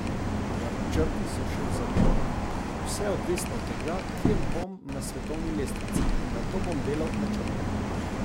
Načrti so še v zametkih: "Vse je odvisno od tega, kje bom na svetovni lestvici, in nato bom delal načrte.